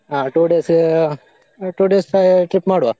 ಹ two days ಹಾ two days trip ಮಾಡುವ